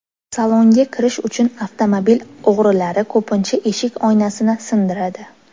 Salonga kirish uchun avtomobil o‘g‘rilari ko‘pincha eshik oynasini sindiradi.